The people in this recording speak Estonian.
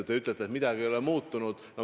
Te ütlete, et midagi ei ole muutunud.